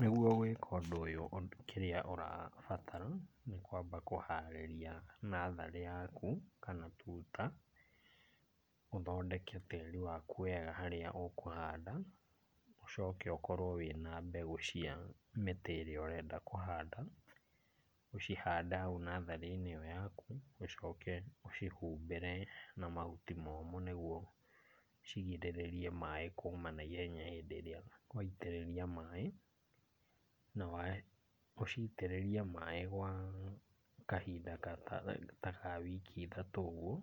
Nĩguo gwĩka ũndũ ũyũ ,kĩrĩa ũrabatara nĩ kwamba kũharĩria natharĩ yaku kana tuta. Ũthondeke tĩĩri waku wega harĩa ũkũhanda, ũcoke ũkorwo wĩna mbegũ cia mĩtĩ ĩrĩa ũrenda kũhanda. Ũcihande hau natharĩ-inĩ ĩyo yaku, ũcoke ũcihumbĩre na mahuti momu nĩguo cigirĩrĩrie maĩ kũma na ihenya hĩndĩ ĩrĩa waitĩrĩria maĩ. Na ũcitĩrĩrie maĩ gwa kahinda ta ta ta ka wiki ithatũ ũguo,